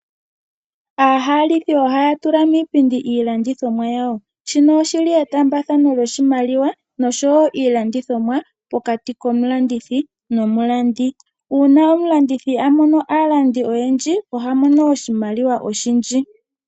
Aahalithi ohaya tula miipindi iilandithomwa yawo, shino oshili etaambathano lyoshimaliwa nosho wo iilandithomwa pokati komulandithi nomulandi. Uuna omulandithi amono aalandi oyendji oha mono oshimaliwa oshindji.